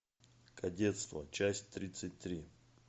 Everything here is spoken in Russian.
кадетство часть тридцать три